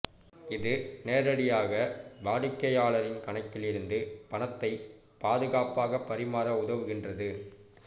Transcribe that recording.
இது நேரடியாக வாடிக்கையாளரின் கணக்கில் இருந்து பணத்தை பாதுகாப்பாக பரிமாற உதவுகின்றது